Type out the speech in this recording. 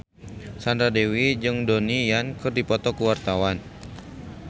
Sandra Dewi jeung Donnie Yan keur dipoto ku wartawan